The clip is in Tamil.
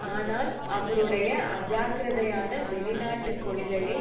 ஆனால் அவருடைய அஜாக்கிரதையான வெளிநாட்டு கொள்கையை